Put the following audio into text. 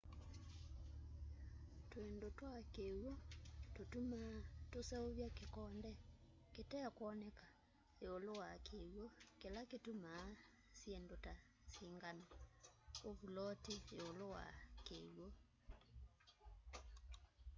twindu twa kiwu tutumaa tuseuvya kikonde kitekwoneka iulu wa kiwu kila kituma syindu ta singano u vuloti yiulu wa kiwu